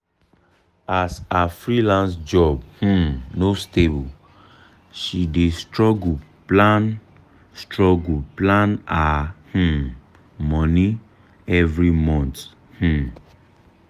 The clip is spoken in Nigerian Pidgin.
as her freelance job um no stable she dey struggle plan struggle plan her um money every month. um